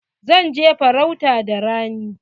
Zan je farauta da rani.